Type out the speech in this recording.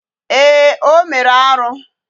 Ee, o mere arụ